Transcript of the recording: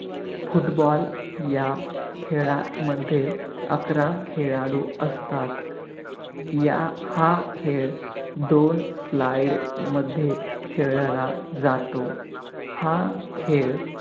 football या खेळामध्ये अकरा खेळाडू असतात. या हा खेळ दोन slide मध्ये खेळला जातो. हा खेळ